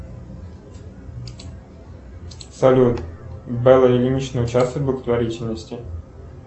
салют белла ильинична участвует в благотворительности